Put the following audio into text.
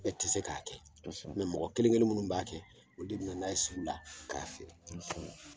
E tɛ se k'a kɛ mɔgɔ kelen- kelen minnu b'a kɛ o de bɛ na n'a ye sugu la k'a feere